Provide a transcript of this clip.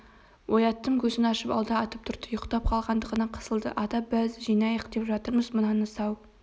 ояттым көзін ашып алды атып тұрды ұйықтап қалғандығына қысылды ата біз жинайық деп жатырмыз мынаны сау